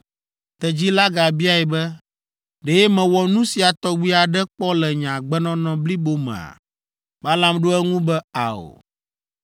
Tedzi la gabiae be, “Ɖe mewɔ nu sia tɔgbi aɖe kpɔ le nye agbenɔnɔ blibo mea?” Balaam ɖo eŋu be, “Ao.”